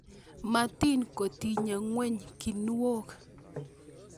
Motin kotiny ngweny kinuok